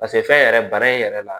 fɛn yɛrɛ bana in yɛrɛ la